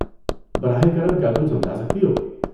براہ کرم کیا تم سمجھا سکتی ہو؟